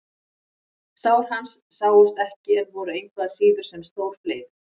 Sár hans sáust ekki en voru engu að síður sem stór fleiður.